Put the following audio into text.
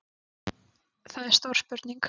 Það er stór spurning